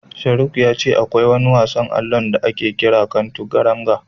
Sharuk ya ce akwai wani wasan allon da ake kira Canturanga.